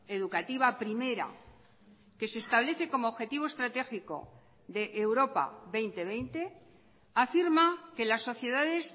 educativa primera que se establece como objetivo estratégico de europa dos mil veinte afirma que las sociedades